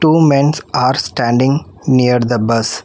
Two men's are standing near the bus.